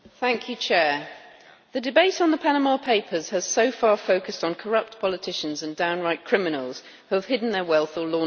Madam President, the debate on the Panama Papers has so far focused on corrupt politicians and downright criminals who have hidden their wealth or laundered money.